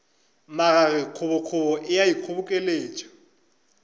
magage kgobokgobo e a ikgobokeletša